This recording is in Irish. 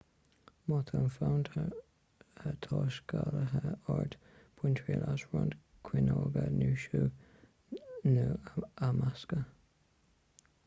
má tá fonn taiscéalaithe ort bain triail as roinnt caoineoga nó sú nó a mheascadh